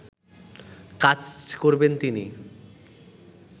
কাজ করবেন তিনি